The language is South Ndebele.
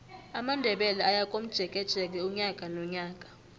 amandebele ayakomjekeje unyaka nonyaka